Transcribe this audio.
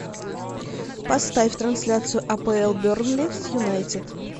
поставь трансляцию апл бернли с юнайтед